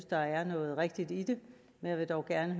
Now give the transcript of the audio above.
der er noget rigtigt i det jeg vil dog gerne